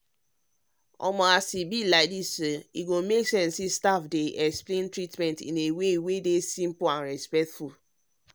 as e dey be e really help when staff dey explain treatment in way wey simple and respectful.